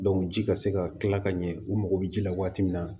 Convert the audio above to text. ji ka se ka kila ka ɲɛ u mago bɛ ji la waati min na